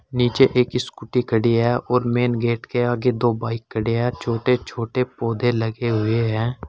नीचे एक स्कूटी खड़ी है और मैन गेट के आगे दो बाइक खड़े हैं छोटे छोटे पौधे लगे हुए हैं।